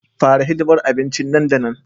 Fara hidimar abincin nan da nan